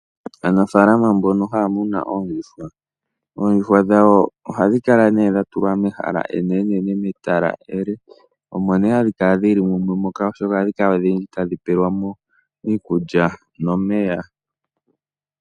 Aanafaalama mbono hayamunu oondjuhwa, oondjuhwa dhawo ohadhi kala nee dhatulwa mehala enene nometala ele, omo nee hadhikala dhili mumwe moka oshoka ohadhi kala odhindji tadhi pelwamo iikulya nomeya.